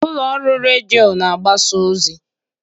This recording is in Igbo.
Ụlọ ọrụ redio na-agbasa ozi.